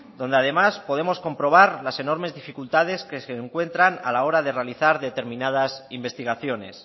donde además podemos comprobar las enormes dificultades que se encuentran a la hora de realizar determinadas investigaciones